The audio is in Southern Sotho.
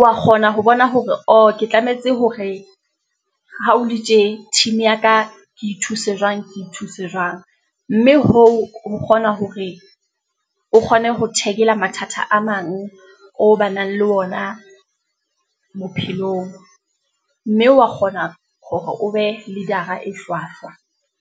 wa kgona ho bona hore oh, ke tlametse hore ha o le tje team ya ka ke thuse jwang, ke thuse jwang. Mme hoo, ho kgona hore o kgone ho taggel-a mathata a mang, o ba nang le wona bophelong, mme wa kgona hore o be leader-a e hlwahlwa.